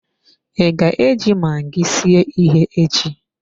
I ga eji magi sie ihe echi?